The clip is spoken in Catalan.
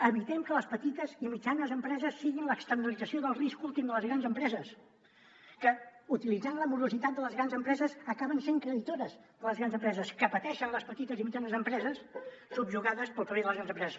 evitem que les petites i mitjanes empreses siguin l’externalització del risc últim de les grans empreses que utilitzant la morositat de les grans empreses acaben sent creditores les grans empreses que pateixen les petites i mitjanes empreses subjugades pel paper de les grans empreses